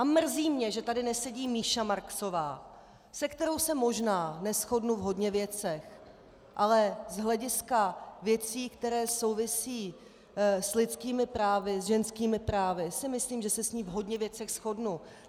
A mrzí mě, že tady nesedí Míša Marksová, se kterou se možná neshodnu v hodně věcech, ale z hlediska věcí, které souvisí s lidskými právy, s ženskými právy, si myslím, že se s ní v hodně věcech shodnu.